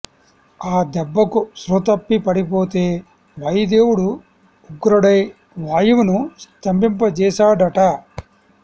ఆ దెబ్బకు స్పృహతప్పి పడిపోతే వాయు దేవుడు ఉగ్రుడై వాయువును స్తంభింప చేశా డట